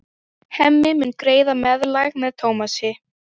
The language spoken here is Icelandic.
Hemmi mun greiða meðlag með Tómasi.